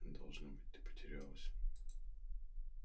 должно быть ты потерялась